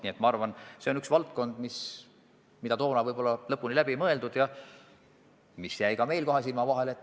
Nii et minu arvates see on üks valdkond, mis võib-olla jäi varem lõpuni läbi mõtlemata ja mis jäi ka meil kahe silma vahele.